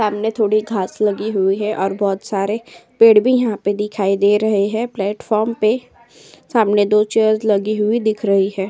सामने थोड़ी घास लगी हुई है और बोहोत सारे पेड़ भी यहाँ पे दिखाई दे रहे हैं। प्लेटफॉर्म पे सामने दो चेयर्स लगी हुई दिख रही हैं।